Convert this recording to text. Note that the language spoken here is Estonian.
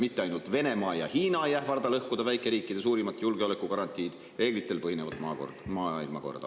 Mitte ainult Venemaa ja Hiina ei ähvarda lõhkuda väikeriikide suurimat julgeoleku garantiid – reeglitel põhinevat maailmakorda.